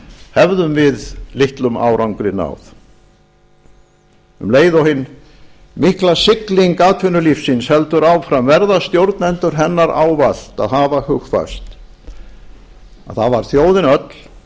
hefðum við litlum árangri náð um leið og hin mikla sigling atvinnulífsins heldur áfram verða stjórnendur hennar ávallt að hafa hugfast að það var þjóðin öll sem